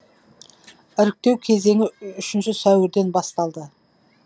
іріктеу кезеңі үшінші сәуірден басталды